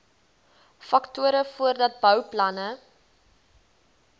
faktore voordat bouplanne